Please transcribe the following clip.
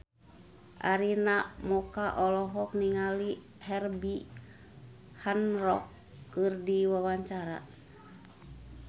Arina Mocca olohok ningali Herbie Hancock keur diwawancara